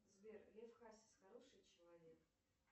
сбер лев хасис хороший человек